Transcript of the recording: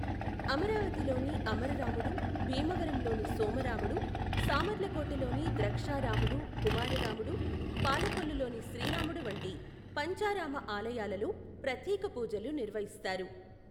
అమరావతిలోని అమరరాముడు, భీమవరంలోని సోమరాముడు,, సామర్లకోటలోని ద్రక్షారాముడు, కుమారరాముడు, పాలకొల్లులోని శ్రీరాముడు వంటి పంచారామా ఆలయాలలో ప్రత్యేక పూజలు నిర్వహిస్తారు.